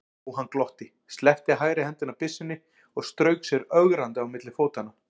Jóhann glotti, sleppti hægri hendinni af byssunni og strauk sér ögrandi á milli fótanna.